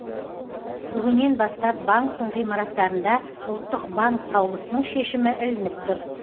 бүгіннен бастап банктің ғимараттарында ұлттық банк қаулысының шешімі ілініп тұр